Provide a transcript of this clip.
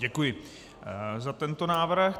Děkuji za tento návrh.